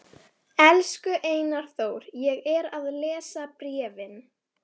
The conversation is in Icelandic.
Mér var úthlutað örlitlu broti af dagatali eilífðarinnar.